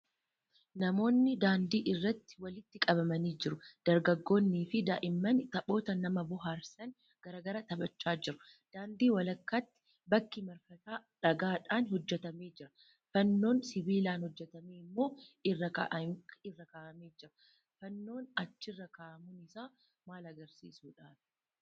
Namoonni daandii irratti walitti qabamanii jiru. Dargaggoonniifi daa'imman taphoota nama bohaarsan garaa garaa taphachaa jiru. Daandii walakkaatti bakki marfataa dhagaadhaan hojjetamee jira. Fannoon sibiilaan hojjetame immoo irra kaa'amee jira. Fannoon achirra kaa'amuun isaa maal agarsiisuudhaafi?